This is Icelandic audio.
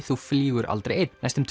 þú flýgur aldrei einn næstum